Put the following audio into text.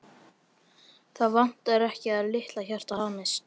Það vantar ekki að litla hjartað hamist.